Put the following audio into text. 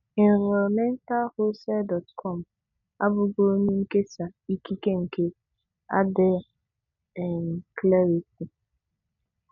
Environmentalwholesale.com abụghị onye nkesa ikike nke Adya um Clarity.